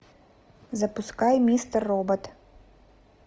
запускай мистер робот